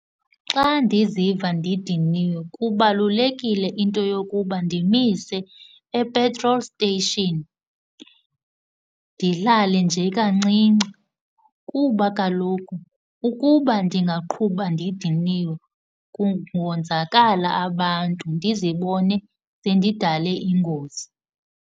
Xa ndiziva ndidiniwe kubalulekile into yokuba ndimise eptrol steyishini, ndilale nje kancinci, kuba kaloku ukuba ndingaqhuba ndidiniwe kungonzakala abantu, ndizibone sendidale ingozi.